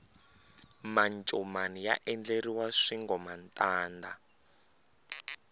mancomani ya endleriwa swingomantanda